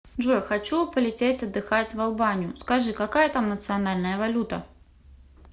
джой хочу полететь отдыхать в албанию скажи какая там национальная валюта